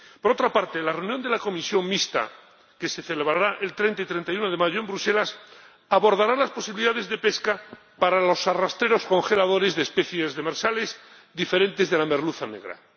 Por otra parte, en la reunión de la comisión mixta, que se celebrará los días 30 y 31 de mayo en Bruselas, se abordarán las posibilidades de pesca para los arrastreros congeladores de especies demersales diferentes de la merluza negra.